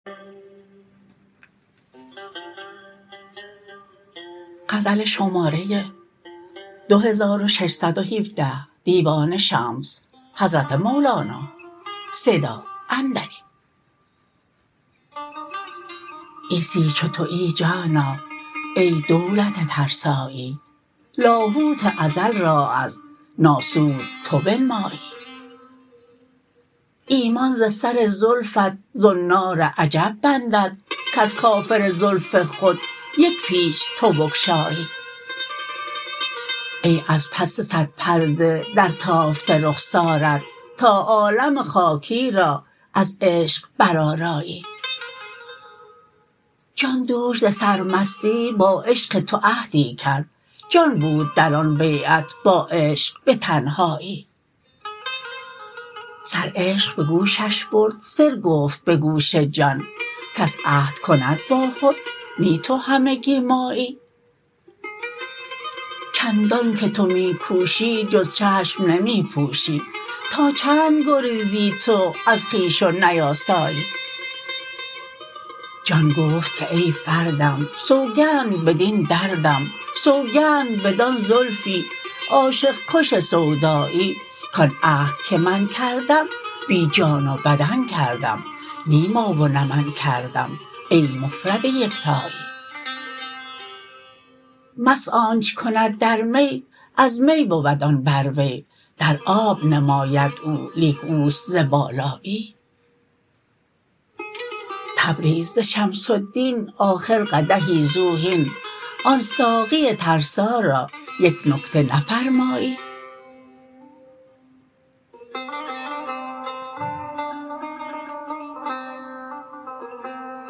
عیسی چو توی جانا ای دولت ترسایی لاهوت ازل را از ناسوت تو بنمایی ایمان ز سر زلفت زنار عجب بندد کز کافر زلف خود یک پیچ تو بگشایی ای از پس صد پرده درتافته رخسارت تا عالم خاکی را از عشق برآرایی جان دوش ز سرمستی با عشق تو عهدی کرد جان بود در آن بیعت با عشق به تنهایی سر عشق به گوشش برد سر گفت به گوش جان کس عهد کند با خود نی تو همگی مایی چندانک تو می کوشی جز چشم نمی پوشی تا چند گریزی تو از خویش و نیاسایی جان گفت که ای فردم سوگند بدین دردم سوگند بدان زلفی عاشق کش سودایی کان عهد که من کردم بی جان و بدن کردم نی ما و نه من کردم ای مفرد یکتایی مست آنچ کند در می از می بود آن در وی در آب نماید او لیک اوست ز بالایی تبریز ز شمس الدین آخر قدحی زو هین آن ساقی ترسا را یک نکته نفرمایی